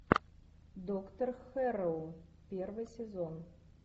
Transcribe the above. доктор хэрроу первый сезон